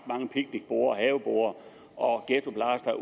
mange picnicborde haveborde og ghettoblastere